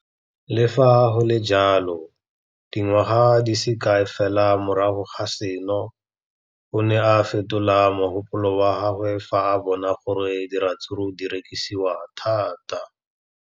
Le fa go le jalo, dingwaga di se kae fela morago ga seno, o ne a fetola mogopolo wa gagwe fa a bona gore diratsuru di rekisiwa thata.